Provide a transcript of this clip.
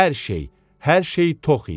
Hər şey, hər şey tox idi.